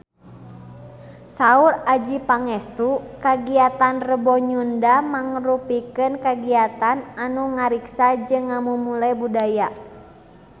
Saur Adjie Pangestu kagiatan Rebo Nyunda mangrupikeun kagiatan anu ngariksa jeung ngamumule budaya Sunda